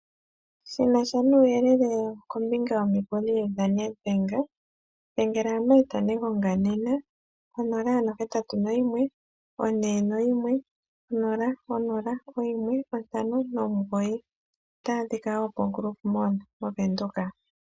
Shina sha nuuyelele kombinga yomikuli dhoStandard Bank dhengela Marth Negonga nena ko 0814100159. Otaya adhika wo koGrove Mall moVenduka.